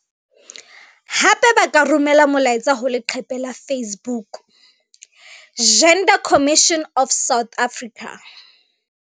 Hape ba ka romela molaetsa ho leqephe la Facebook- Gender Commission of South Africa.